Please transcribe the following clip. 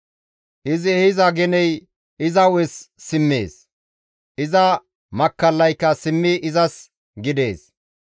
Izi ehiza geney iza hu7es simmees; iza makkallaykka simmidi izas gidees.